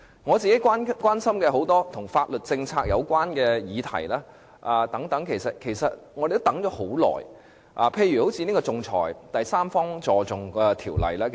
我本人關心很多跟法律政策有關的議題，我們也等了很長時間，例如仲裁和第三方資助仲裁條例......